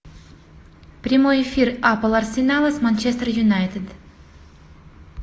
прямой эфир апл арсенала с манчестер юнайтед